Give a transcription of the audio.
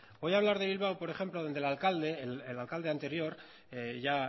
voy a hablar de bilbao por ejemplo donde el alcalde el alcalde anterior ya